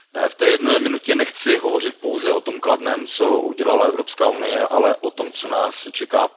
V té jedné minutě nechci hovořit pouze o tom kladném, co udělala Evropská unie, ale o tom, co nás čeká.